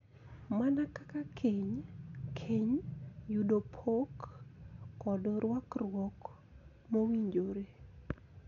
Mana kaka keny, keny, yudo pok, kod rwakruok mowinjore.